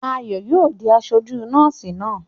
Ayò yóò di aṣojú kọ́ọ́sì náà!